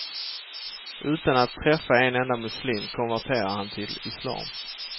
Utan att träffa en enda muslim konverterade han till islam.